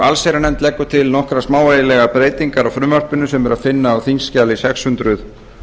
allsherjarnefnd leggur til nokkrar smávægilegar breytingar á frumvarpinu sem er að finna á þingskjali sex hundruð